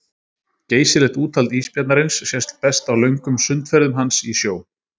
Geysilegt úthald ísbjarnarins sést best á löngum sundferðum hans í sjó.